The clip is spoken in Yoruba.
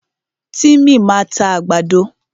Tímì máa ta àgbàdo.